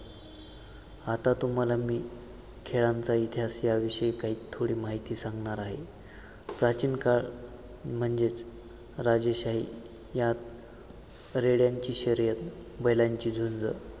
आता तुम्हाला मी खेळांचा इतिहास याविषयी काही थोडी माहीती सांगणार आहे. प्राचीन काळ म्हणजेच राजेशाही यात रेडयांची शर्यत बैलांची झुंज